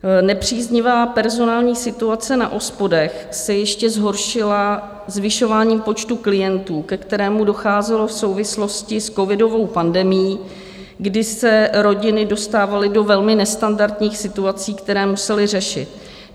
Nepříznivá personální situace na OSPODech se ještě zhoršila zvyšováním počtu klientů, ke kterému docházelo v souvislosti s covidovou pandemií, kdy se rodiny dostávaly do velmi nestandardních situací, které musely řešit.